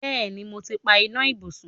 Bẹ́ẹ̀ni, mo ti pa iná ibùsùn.